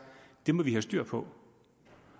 det må vi have styr på